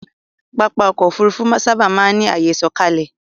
Pápá ọkọ̀ Òfurufú sáábà máa ń ní àyè ìsọ̀kalẹ̀